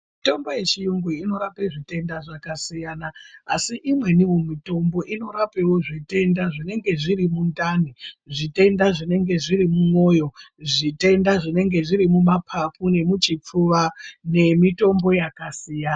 Mitombo yechiyungu inorape zvitenda zvakasiyana asi imweniwo mitombo inorapewo zvitenda zvinenge zviri mundani, zvitenda zvinenge zviri mumoyo zvitenda zvinenge zviri mumapapu nemuchipfuva nemitombo yakasiyana.